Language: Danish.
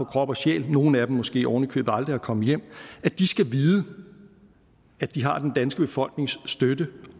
krop og sjæl nogle af dem måske ovenikøbet aldrig at komme hjem skal vide at de har den danske befolknings støtte